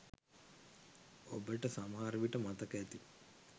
ඔබට සමහර විට මතක ඇති